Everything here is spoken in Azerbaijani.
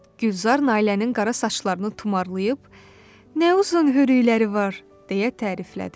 Gülzar Nailənin qara saçlarını tumarlayıb, "Nə uzun hörükləri var!" deyə təriflədi.